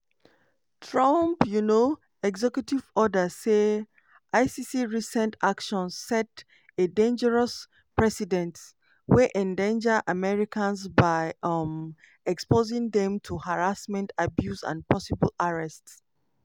trump um executive order say icc recent actions "set a dangerous precedent" wey endanger americans by um exposing dem to "harassment abuse and possible arrest".